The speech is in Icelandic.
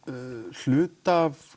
hluta af